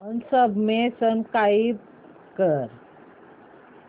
unsubscribe कर